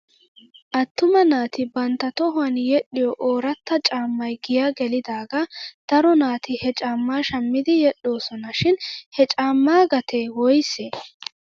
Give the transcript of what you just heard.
Attuma naati bantta tohuwan yedhdhiyoo ooratta caammay giyaa gelidaagaa daro naati he caamaa shammidi yedhdhoosona shin he caammaa gatee woysee?